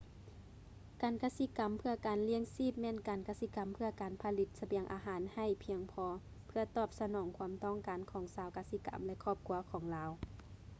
ການກະສິກຳເພື່ອການລ້ຽງຊີບແມ່ນການກະສິກຳເພື່ອການຜະລິດສະບຽງອາຫານໃຫ້ພຽງພໍເພື່ອຕອບສະໜອງຄວາມຕ້ອງການຂອງຊາວກະສິກຳ ແລະ ຄອບຄົວຂອງລາວ